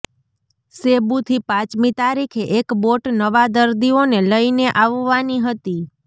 સેબુથી પાંચમી તારીખે એક બોટ નવા દરદીઓને લઈને આવવાની હતી